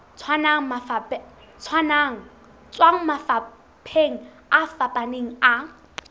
tswang mafapheng a fapaneng a